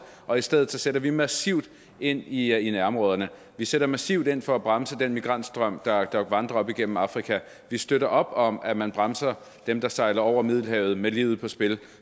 og i stedet sætter vi massivt ind i i nærområderne vi sætter massivt ind for at bremse den migrantstrøm der vandrer op igennem afrika vi støtter op om at man bremser dem der sejler over middelhavet med livet på spil